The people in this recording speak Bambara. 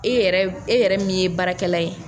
E yɛrɛ e yɛrɛ min ye baarakɛla ye.